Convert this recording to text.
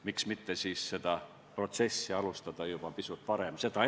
Miks mitte seda protsessi alustada juba pisut varem?